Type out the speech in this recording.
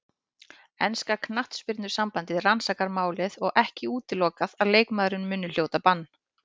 Enska knattspyrnusambandið rannsakar málið og ekki útilokað að leikmaðurinn muni hljóta bann.